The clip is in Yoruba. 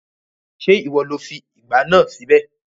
Ṣé ìwọ lo fi ìgbá náà síbẹ̀?